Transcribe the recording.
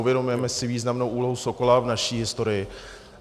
Uvědomujeme si významnou úlohu Sokola v naší historii.